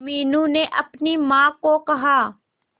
मीनू ने अपनी मां को कहा